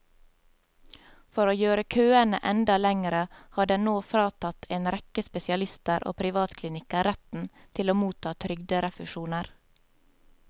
For å gjøre køene enda lengre har den nå fratatt en rekke spesialister og privatklinikker retten til å motta trygderefusjoner.